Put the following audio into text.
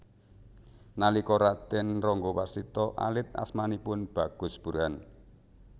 Nalika Raden Ranggawarsita alit asmanipun Bagus Burhan